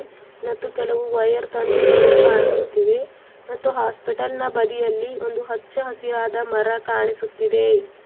ಮತ್ತು ಕೆಲವು ವೈಯರ್ ತಂತಿಗಳು ಕಾಣಿಸುತ್ತಿವೆ ಮತ್ತು ಹಾಸ್ಪಿಟಲ್ನ ಬಳಿಯಲ್ಲಿ ಒಂದು ಹಚ್ಚ ಹಸಿರಾದ ಮರ ಕಾಣಿಸುತ್ತಿದೆ.